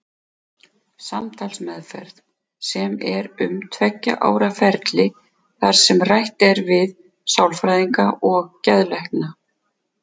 Samtalsmeðferð, sem er um tveggja ára ferli þar sem rætt er við sálfræðinga og geðlækna.